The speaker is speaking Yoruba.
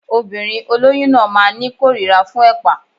Obìnrin olóyún náà máa ní kórira fún ẹ̀pà